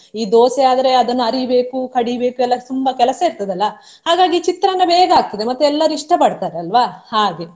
ಈ ದೋಸೆ ಆದ್ರೆ ಅದನ್ನ ಅರಿಬೇಕು, ಕಡಿಬೇಕು ಎಲ್ಲ ತುಂಬಾ ಕೆಲಸ ಇರ್ತದೆ ಅಲ್ಲಾ ಹಾಗಾಗಿ ಚಿತ್ರಾನ್ನ ಬೇಗ ಆಗ್ತದೆ ಮತ್ತೆ ಎಲ್ಲರೂ ಇಷ್ಟ ಪಡ್ತಾರೆ ಅಲ್ವಾ ಹಾಗೆ.